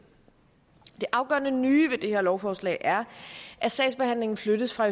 afgørende nye ved det her lovforslag er at sagsbehandlingen flyttes fra